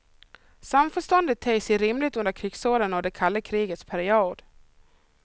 Samförståndet ter sig rimligt under krigsåren och det kalla krigets period.